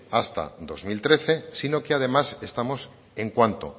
hasta el dos mil trece sino que además estamos en cuanto